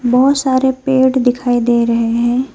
बहुत सारे पेड़ दिखाई दे रहे हैं।